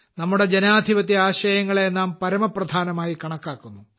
നമ്മുടെ ജനാധിപത്യ ആശയങ്ങളെ നാം പരമപ്രധാനമായി കണക്കാക്കുന്നു